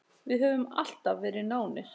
Við höfum alltaf verið nánir.